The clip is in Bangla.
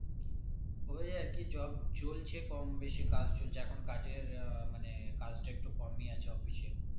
ওই আর কি job চলছে কম বেশি কাজ চলছে এখন কাজের এর মানে কাজটা একটুও কমই আছে office এ